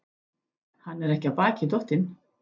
Hann er ekki af baki dottinn.